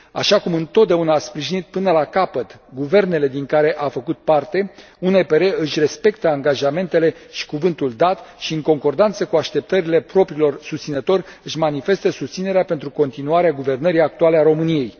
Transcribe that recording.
Așa cum întotdeauna a sprijinit până la capăt guvernele din care a făcut parte, UNPR își respectă angajamentele și cuvântul dat și, în concordanță cu așteptările propriilor susținători, își manifestă susținerea pentru continuarea guvernării actuale a României.